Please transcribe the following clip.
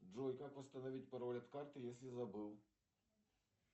джой как восстановить пароль от карты если забыл